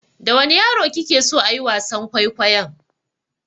Da wane yare kike so ayi wasan kwaikwayon?